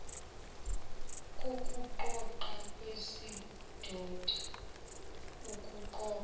kokuqoqa kwesidoda ukuqoqwa